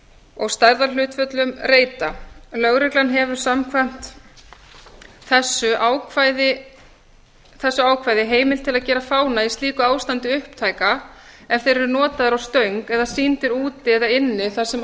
og stærðarhlutföll reita lögreglan hefur samkvæmt þessu ákvæði heimild til að gera fána í slíku ástandi upptæka ef þeir eru notaðir á stöng eða sýndir úti eða inni þar sem